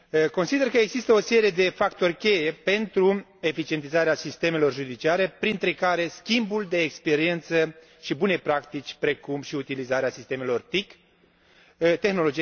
Consider că există o serie de factori cheie pentru eficientizarea sistemelor judiciare, printre care schimbul de experiență și bune practici, precum și utilizarea sistemelor TIC De